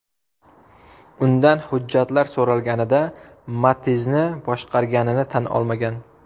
Undan hujjatlar so‘ralganida, Matiz’ni boshqarganini tan olmagan.